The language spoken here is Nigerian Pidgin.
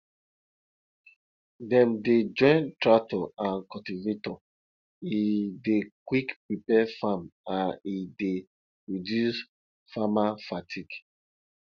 dem dey join tractor and cultivator e dey quick prepare farm and e dey reduce farmer fatigue